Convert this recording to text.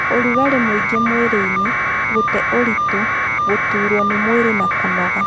ũrugarĩ mũingĩ mwĩrĩinĩ, gũte ũritũ, gũturwo nĩ mwĩrĩ na kunoga